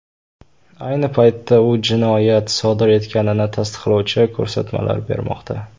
Ayni paytda u jinoyat sodir etganini tasdiqlovchi ko‘rsatmalar bermoqda.